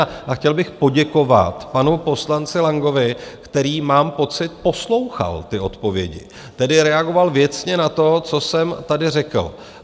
A chtěl bych poděkovat panu poslanci Langovi, který, mám pocit, poslouchal ty odpovědi, tedy reagoval věcně na to, co jsem tady řekl.